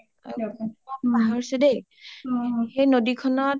পাহৰছো দেই.সেই নদীখনত